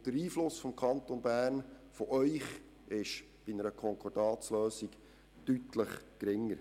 Auch der Einfluss des Kantons Bern und des Grossen Rats wäre bei einer Konkordatslösung deutlich geringer.